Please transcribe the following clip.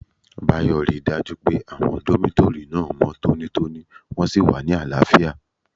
Báyò ríi dájú pé àwọn dómítórì náà mọ́ tónítóní wọ́n sì wà ní àlàáfíà